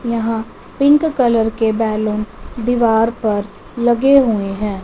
यहां pink colour के balloon दीवार पर लगे हुएं हैं।